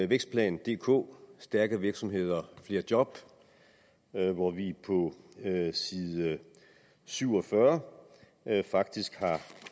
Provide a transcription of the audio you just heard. vækstplan dk stærke virksomheder flere job hvor vi på side syv og fyrre faktisk